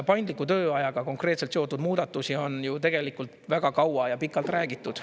Paindliku tööajaga konkreetselt seotud muudatusi on ju tegelikult väga kaua ja pikalt räägitud.